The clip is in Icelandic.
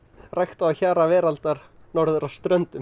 ræktað á hjara veraldar norður á Ströndum